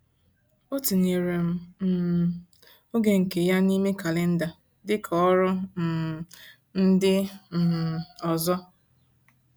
O tinyere m um oge nke ya n’ime kalenda dịka ọrụ um ndị um ọzọ.